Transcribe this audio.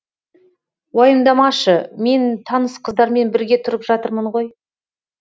уайымдамашы мен таныс қыздармен бірге тұрып жатырмын ғой